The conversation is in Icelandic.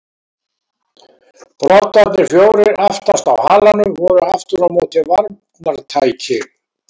Broddarnir fjórir aftast á halanum voru aftur á móti varnartæki.